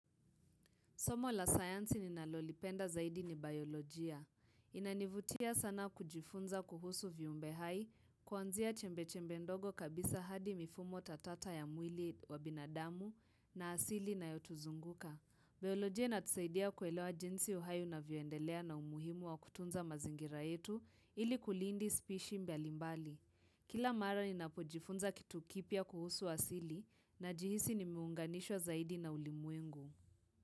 Somo la sayansi ninalolipenda zaidi ni bayolojia. Inanivutia sana kujifunza kuhusu viumbe hai, kuanzia chembe chembe ndogo kabisa hadi mifumo tatata ya mwili wa binadamu na asili inayotuzunguka. Bayolojia inatusaidia kuelewa jinsi uhai unavyoendelea na umuhimu wa kutunza mazingira yetu ili kulindi spishi mbalimbali. Kila mara ninapojifunza kitu kipya kuhusu asili najihisi nimeunganishwa zaidi na ulimwengu.